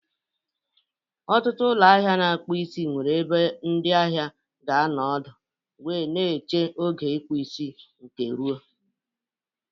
Ọtụtụ ụlọ ahịa na-akpụ isi nwere ebe ndị ahịa ga-anọ ọdụ wee na-eche oge ịkpụ isi nke rụo